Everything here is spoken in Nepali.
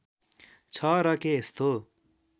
छ र के यस्तो